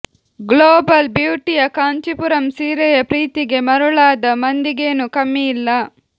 global ಬ್ಯೂಟಿಯ ಕಾಂಚೀಪುರಂ ಸೀರೆಯ ಪ್ರೀತಿಗೆ ಮರುಳಾದ ಮಂದಿಗೆನೂ ಕಮ್ಮಿ ಇಲ್ಲ